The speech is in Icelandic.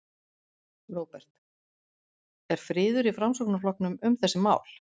Róbert: Er friður í Framsóknarflokknum um þessi mál?